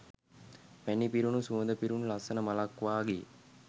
පැණි පිරුණු සුවඳ පිරුණු ලස්සන මලක් වගේ